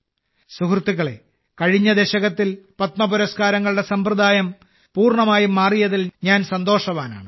സുഹൃത്തുക്കളേ കഴിഞ്ഞ ദശകത്തിൽ പത്മപുരസ്കാരങ്ങളുടെ സമ്പ്രദായം പൂർണ്ണമായും മാറിയതിൽ ഞാൻ വളരെ സന്തോഷവാനാണ്